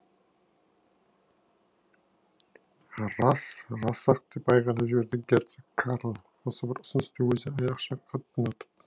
рас рас ақ деп айғайлап жіберді герцог карл осы бір ұсынысты өзі айрықша қатты ұнатып